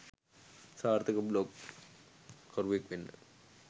සාර්ථක බ්ලොග් කරුවෙක් වෙන්න